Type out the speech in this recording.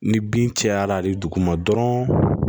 Ni bin cayara hali duguma dɔrɔn